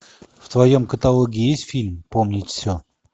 в твоем каталоге есть фильм помнить все